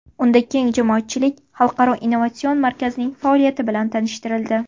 Unda keng jamoatchilik Xalqaro innovatsion markazning faoliyati bilan tanishtirildi.